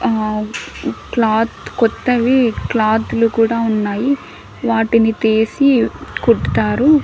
ఆ క్లాత్ కొత్తవి క్లాత్ లు కూడా ఉన్నాయి వాటిని తీసి కుట్టుతారు.